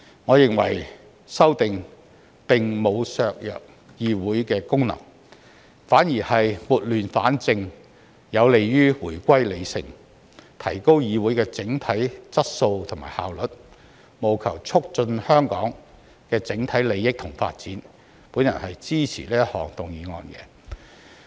我認為修訂並無削弱議會的功能，反而是撥亂反正，有利於回歸理性，提高議會的整體質素和效率，務求促進香港的整體利益和發展，我支持這項議案。